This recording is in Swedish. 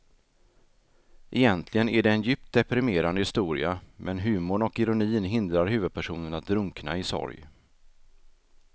Egentligen är det en djupt deprimerande historia men humorn och ironin hindrar huvudpersonen att drunkna i sorg.